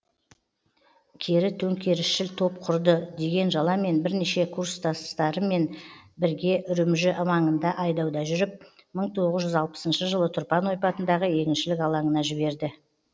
кері төңкерісшіл топ құрды деген жаламен бірнеше курстасыммен бірге үрімжі маңында айдауда жүріп мың тоғыз жүз алпысыншы жылы тұрпан ойпатындағы егіншілік алаңына жіберді